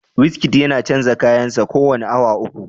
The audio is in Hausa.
Wizkid yana canza kayan sa kowane awa uku